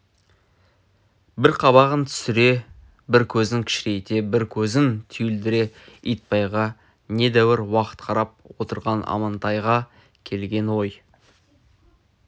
бір қабағын түсіре бір көзін кішірейте бір көзін түйілдіре итбайға недәуір уақыт қарап отырған амантайға келген ой